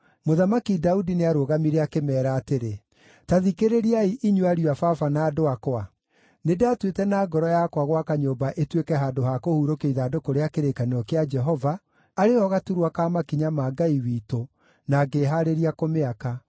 Mũthamaki Daudi nĩarũgamire akĩmeera atĩrĩ: “Ta thikĩrĩriai, inyuĩ ariũ a baba na andũ akwa. Nĩndatuĩte na ngoro yakwa gwaka nyũmba ĩtuĩke handũ ha kũhurũkio ithandũkũ rĩa kĩrĩkanĩro kĩa Jehova, arĩ ho gaturwa ka makinya ma Ngai witũ, na ngĩĩhaarĩria kũmĩaka.